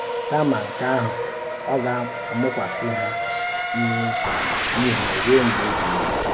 Kama nke ahụ, ọ gà-amụ́kwàsị hà ìhè ruo mgbe ebighị ebi.